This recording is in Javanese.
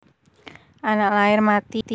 Anak lair mati